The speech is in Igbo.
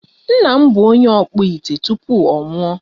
Nna m bụ onye ọkpụ ite tupu ọ nwụọ.